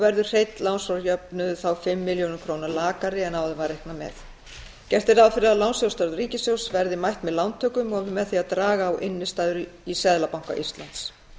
verður hreinn lánsfjárjöfnuður þá fimm milljörðum króna lakari en áður var reiknað með gert er ráð fyrir að lánsfjárþörf ríkissjóðs verði mætt með lántökum og með því að draga á innstæður í seðlabanka íslands